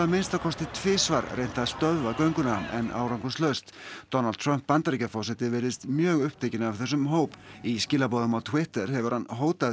minnsta kosti tvisvar reynt að stöðva gönguna en árangurslaust Donald Trump Bandaríkjaforseti virðist mjög upptekinn af þessum hóp í skilaboðum á Twitter hefur hann hótað